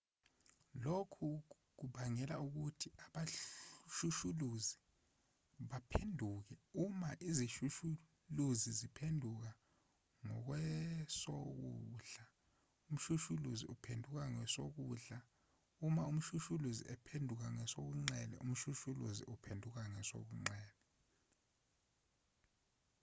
lokhu kubangela ukuthi abashushuluzi baphenduke uma izishushuluziziphenukela ngakwesokudla umshushuluzi uphendukela ngakwesokudla uma izishushuluzi ziphendukela ngakwesobunxele umshushuluzi uphenukela ngakwesobunxele